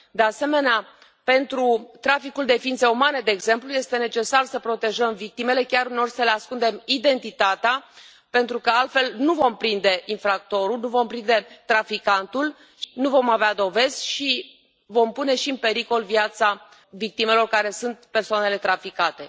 De asemenea, pentru traficul de ființe umane, de exemplu, este necesar să protejăm victimele, chiar, uneori, să le ascundem identitatea, pentru că altfel nu vom prinde infractorul, nu vom prinde traficantul, nu vom avea dovezi și vom pune și în pericol viața victimelor, care sunt persoanele traficate.